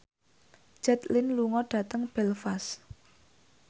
Jet Li lunga dhateng Belfast